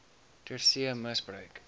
ter see misbruik